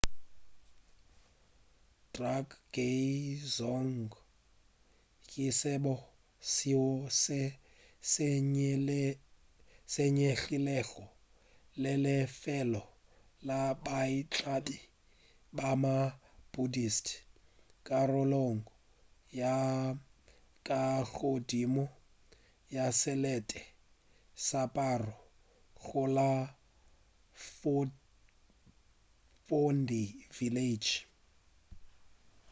drukgay dzong ke sebo seo se senyegilego le lefelo la baitlami ba ma-buddhist karolong ya ka godimo ya selete sa paro go la phondey village